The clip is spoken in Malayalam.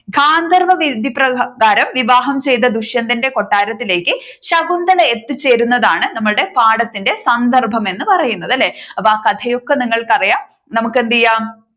ഗാന്ധർവ വിധിപ്രകാരം വിവാഹം ചെയ്ത ദുഷ്യന്തന്റെ കൊട്ടാരത്തിലേക്ക് ശകുന്തള എത്തിച്ചേരുന്നതാണ് നമ്മുടെ പാഠത്തിന്റെ സന്ദർഭം എന്ന് പറയുന്നത് അല്ലെ. അപ്പോ ആ കഥയൊക്കെ നിങ്ങൾക്കറിയാം. നമുക്ക് എന്തു ചെയ്യാം